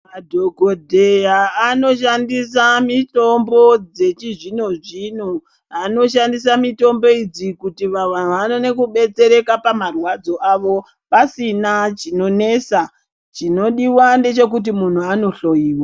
Madhokodheya anoshandisa mitombo dzechizvino zvino, anoshandisa mitombo idzi kuti vanhu vaone kubetsereka pamarwadzo avo pasina chinonesa chinodiwa ndechekuti muntu andohloyiwa.